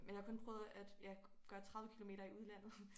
Men jeg har kun prøvet at ja gøre 30 kilometer i udlandet